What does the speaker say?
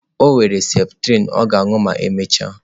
O were septrin ọ ga-aṅụ ma emechaa.